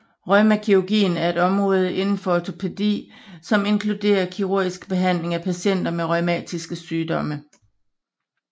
Reumakirurgien er et område inden for ortopedi som inkluderer kirurgisk behandling af patienter med rheumatisk sygdom